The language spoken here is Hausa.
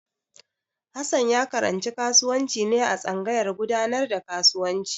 Hassan ya karanci kasuwanci ne a tsangayar gudanar da kasuwanci.